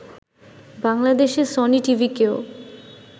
বাংলাদেশে সনি টিভিকেও